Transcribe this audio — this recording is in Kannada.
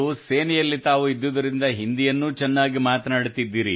ಸೇನೆಯಲ್ಲಿ ತಾವು ಇದ್ದುದರಿಂದ ಹಿಂದಿಯನ್ನೂ ಚೆನ್ನಾಗಿ ಮಾತನಾಡುತ್ತೀರಿ